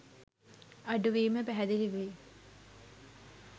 අඩුවීම පැහැදිලි වෙයි.